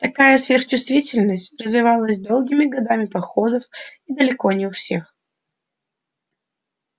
такая сверхчувствительность развивалась долгими годами походов и далеко не у всех